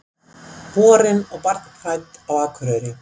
Borin og barnfædd á Akureyri.